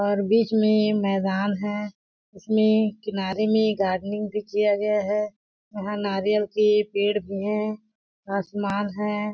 और बीच में मैदान है इसमें किनारे में गार्डनिंग भी किया गया है यहाँ नारियल के पेड़ भी है आसमान है।